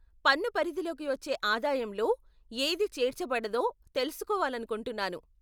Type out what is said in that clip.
పన్ను పరిధిలోకి వచ్చే ఆదాయంలో ఏది చేర్చబడదో తెలుసుకోవాలనుకుంటున్నాను.